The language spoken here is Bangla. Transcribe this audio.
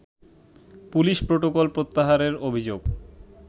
পুলিশ প্রোটোকল প্রত্যাহারের অভিযোগ